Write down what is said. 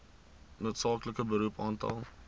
noodsaaklike beroep aantal